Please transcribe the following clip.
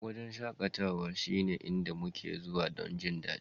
Wurin shakatawa shine inda muke zuwa don jin daɗi